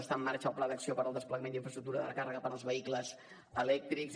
està en marxa el pla d’acció per al desplegament d’infraestructura dels vehicles elèctrics